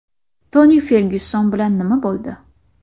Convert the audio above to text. Toni Fergyuson bilan nima bo‘ldi?